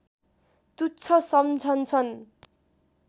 तुच्छ सम्झन्छन्